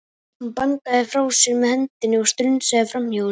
Hún bandaði frá sér með hendinni og strunsaði framhjá honum.